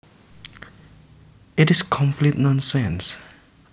It is complete nonsense